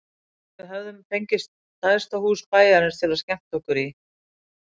En við höfðum fengið stærsta hús bæjarins til að skemmta okkur í.